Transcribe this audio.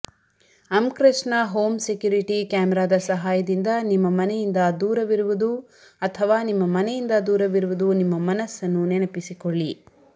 ಅಮ್ಕ್ರೆಸ್ಟ್ನ home security ಕ್ಯಾಮೆರಾದ ಸಹಾಯದಿಂದ ನಿಮ್ಮ ಮನೆಯಿಂದ ದೂರವಿರುವುದು ಅಥವಾ ನಿಮ್ಮ ಮನೆಯಿಂದ ದೂರವಿರುವುದು ನಿಮ್ಮ ಮನಸ್ಸನ್ನು ನೆನಪಿಸಿಕೊಳ್ಳಿ